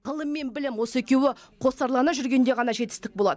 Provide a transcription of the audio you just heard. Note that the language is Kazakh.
ғылым мен білім осы екеуі қосарлана жүргенде ғана жетістік болады